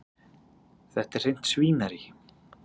Þetta er hreint svínarí.